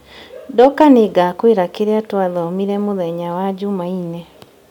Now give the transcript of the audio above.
Ndoka nĩngakwĩra kĩrĩa twathomire mũthenya wa Jumaine